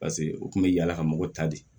Paseke u kun bɛ yaala ka mɔgɔ ta de